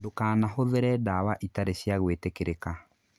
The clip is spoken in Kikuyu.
Ndũkahũthĩre ndawa itarĩ cia gwĩtĩkĩrĩka.